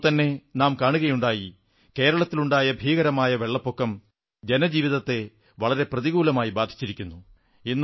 ഇപ്പോൾത്തന്നെ നാം കാണുകയുണ്ടായി കേരളത്തിലുണ്ടായ ഭീകരമായ വെള്ളപ്പൊക്കം ജനജീവിതത്തെ വളരെ ഗുരുതരമായ രീതിയിൽ ബാധിച്ചിരിക്കുന്നു